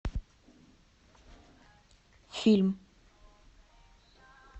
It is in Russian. фильм